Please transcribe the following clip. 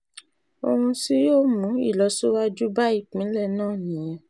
ohun tí yóò mú ìlọsíwájú bá ìpínlẹ̀ náà nìyẹn